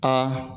Aa